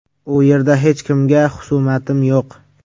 U yerda hech kimga xusumatim yo‘q.